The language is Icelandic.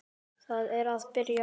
Það er að byrja.